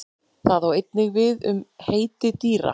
Það á einnig við við um heiti dýra.